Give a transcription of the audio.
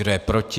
Kdo je proti?